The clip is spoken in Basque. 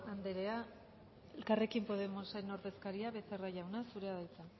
anderea elkarrekin podemos taldearen ordezkaria becerra jauna zurea da hitza